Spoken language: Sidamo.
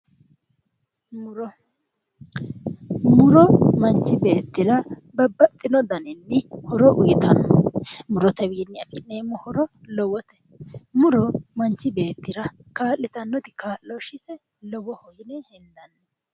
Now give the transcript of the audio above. Muro, muro manchi beettira babbxino daninni horo uuyiitanno. murotewiinni afi'neemmo horo lowote muro manchi beettira kaa'litannoti kaa'loshshise lowoho.